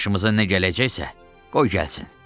Başımıza nə gələcəksə, qoy gəlsin.